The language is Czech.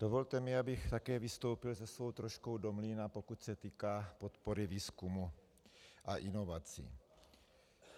Dovolte mi, abych také vystoupil se svou troškou do mlýna, pokud se týká podpory výzkumu a inovací.